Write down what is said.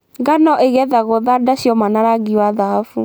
Ngano ĩgethagwo thanda cioma na rangi wa dhahabu.